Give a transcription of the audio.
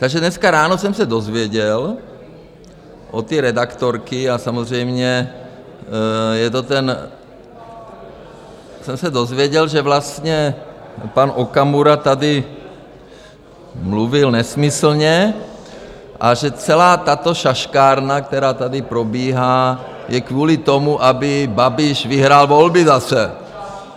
Takže dneska ráno jsem se dozvěděl od té redaktorky, a samozřejmě je to ten - jsem se dozvěděl, že vlastně pan Okamura tady mluvil nesmyslně a že celá tato šaškárna, která tady probíhá, je kvůli tomu, aby Babiš vyhrál volby zase.